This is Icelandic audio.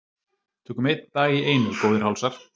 Tökum einn dag í einu góðir hálsar.